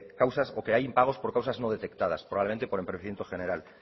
causas o que hay impagos por causas no detectadas probablemente por empobrecimiento general